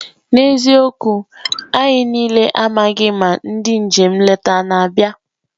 N'eziokwu! anyị niile amaghị ma ndị njem nleta na-abịa.